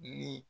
Ni